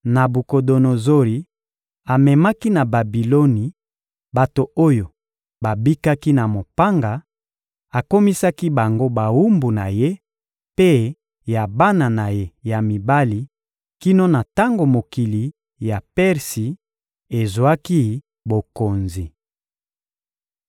Nabukodonozori amemaki na Babiloni bato oyo babikaki na mopanga, akomisaki bango bawumbu na ye mpe ya bana na ye ya mibali kino na tango mokili ya Persi ezwaki bokonzi.